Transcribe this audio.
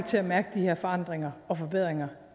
til at mærke de her forandringer og forbedringer